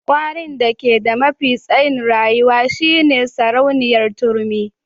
Kwarin da ke da mafi tsayin rayuwa shine sarauniyar turmi.